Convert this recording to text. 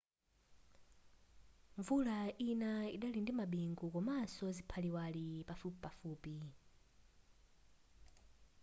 mvula ina idali ndi mabingu komaso ziphaliwali pafupipafupi